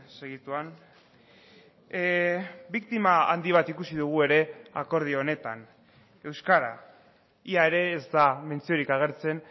segituan biktima handi bat ikusi dugu ere akordio honetan euskara ia ere ez da mentziorik agertzen